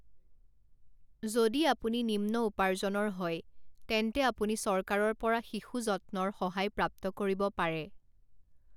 যদি আপুনি নিম্ন উপাৰ্জনৰ হয় তেন্তে আপুনি চৰকাৰৰ পৰা শিশু যত্নৰ সহায় প্ৰাপ্ত কৰিব পাৰে।